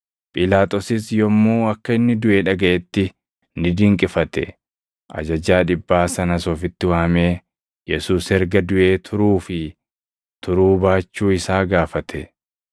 Phiilaaxoosis yommuu akka inni duʼe dhagaʼetti ni dinqifate. Ajajaa dhibbaa sanas ofitti waamee Yesuus erga duʼee turuu fi turuu baachuu isaa gaafate.